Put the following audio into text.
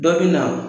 Dɔ bɛ na